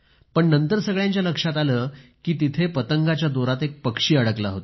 पण नंतर सगळ्यांच्या लक्षात आलं कि तिथे पतंगाच्या दोरात एक पक्षी अडकला होता